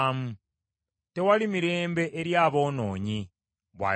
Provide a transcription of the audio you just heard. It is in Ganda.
“Tewali mirembe eri aboonoonyi,” bw’ayogera Mukama .